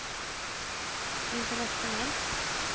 internationellt